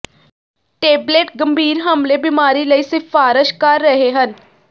tablet ਗੰਭੀਰ ਹਮਲੇ ਬਿਮਾਰੀ ਲਈ ਸਿਫਾਰਸ਼ ਕਰ ਰਹੇ ਹਨ